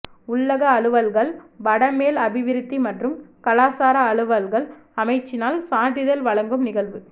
உள்ளக அலுவல்கள் வடமேல் அபிவிருத்தி மற்றும் கலாசார அலுவல்கள் அமைச்சினால் சான்றிதழ் வழங்கும் நிகழ்வு